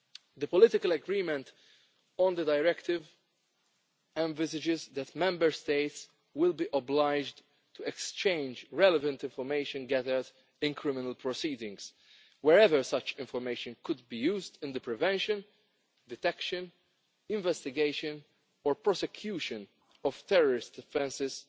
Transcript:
The political agreement on the directive envisages that Member States will be obliged to exchange relevant information gathered in criminal proceedings wherever such information could be used in the prevention, detection, investigation or prosecution of terrorist offences,